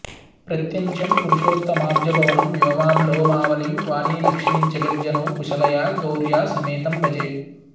प्रत्यञ्चं पुरुषोत्तमाब्जभवनं व्योमाभरोमावलिं वाणीलक्ष्मिजगज्जनौ कुशलया गौर्या समेतं भजे